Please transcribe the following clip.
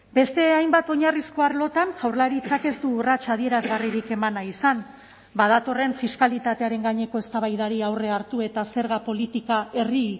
beste hainbat oinarrizko arlotan jaurlaritzak ez du urrats adierazgarririk eman nahi izan badatorren fiskalitatearen gaineko eztabaidari aurre hartu eta zerga politika herri